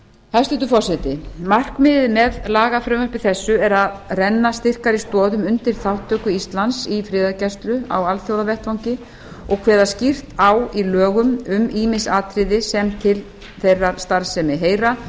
hæstvirtur forseti markmiðið með lagafrumvarpi þessu er að renna styrkari stoðum undir þátttöku íslands í friðargæslu á alþjóðavettvangi og kveða skýrt á í lögum um ýmis atriði sem til þeirrar starfsemi heyra